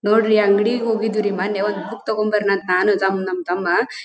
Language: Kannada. ನೋಡ್ರಿ ಅಂಗಡಿಗೆ ಹೋಗಿದ್ವಿ ಮೊನ್ನೆ ಒಂದು ಬುಕ್ ತಗೋಬರೋಣ ನಾನು ಮತ್ ನಮ್ ನಮ್ ತಮ್ಮಾ --